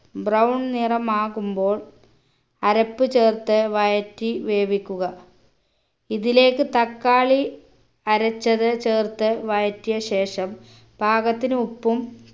brown നിറമാകുമ്പോൾ അരപ്പ് ചേർത്ത് വഴറ്റി വേവിക്കുക ഇതിലേക്ക് തക്കാളി അരച്ചത് ചേർത്ത് വഴറ്റിയ ശേഷം പാകത്തിന് ഉപ്പും